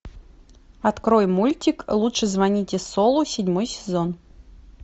открой мультик лучше звоните солу седьмой сезон